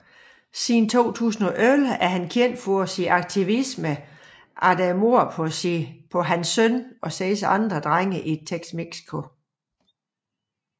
Siden 2011 er han kendt for sin aktivisme efter mordet på sin søn og seks andre drenge i Temixco